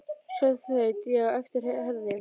Svo þaut ég á eftir Herði.